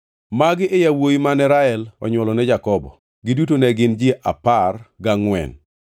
Magi e yawuowi mane Rael onywolone Jakobo. Giduto ne gin ji apar gangʼwen.